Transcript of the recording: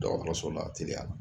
Dɔgɔtɔrɔso la teliya